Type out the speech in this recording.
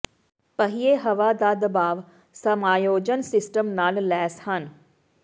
ਪਹੀਏ ਹਵਾ ਦਾ ਦਬਾਅ ਸਮਾਯੋਜਨ ਸਿਸਟਮ ਨਾਲ ਲੈਸ ਹਨ